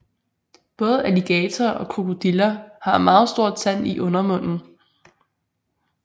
Både alligatorer og krokodiller har en meget stor tand i undermunden